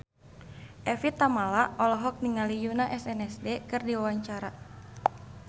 Evie Tamala olohok ningali Yoona SNSD keur diwawancara